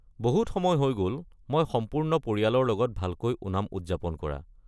বহুত সময় হৈ গ'ল মই সম্পূৰ্ণ পৰিয়ালৰ লগত ভালকৈ ওনাম উদযাপন কৰা।